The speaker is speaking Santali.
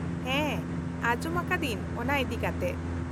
-ᱦᱮᱸ ᱟᱡᱚᱢ ᱟᱠᱟᱫᱟᱹᱧ ᱚᱱᱟ ᱤᱫᱤᱠᱟᱛᱮ ᱾